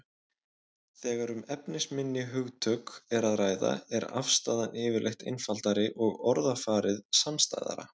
Þegar um efnisminni hugtök er að ræða er afstaðan yfirleitt einfaldari og orðafarið samstæðara.